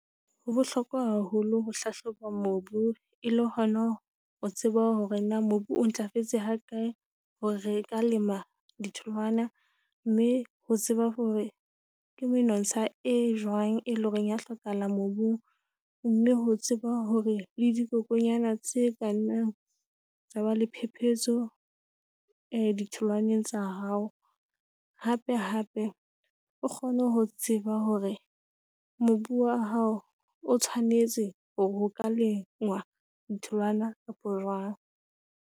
Ho bohlokwa haholo ho hlahloba mobu e le hona ho tseba hore na mobu o ntlafetse ha kae hore re ka lema ditholwana, mme ho tseba hore ke menontsha e jwang, e leng hore ya hlokahala mobung, mme ho tseba hore le dikokonyana tse ka nnang tsa ba le phepetso e ditholwaneng tsa hao. Hape-hape o kgone ho tseba hore mobu wa hao o tshwanetse hore o ka lengwa ditholwana kapo jwang.